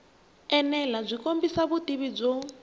enela byi kombisa vutivi byo